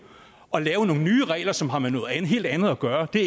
at lave nogle nye regler som har med noget helt andet at gøre det